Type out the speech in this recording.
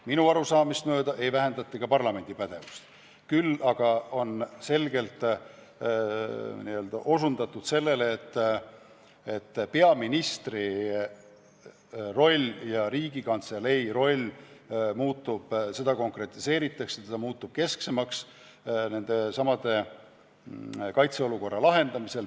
Minu arusaamist mööda ei vähendata ka parlamendi pädevust, küll aga on selgelt osutatud sellele, et peaministri roll ja Riigikantselei roll muutub, seda konkretiseeritakse, see muutub keskseks just kaitseolukordade lahendamisel.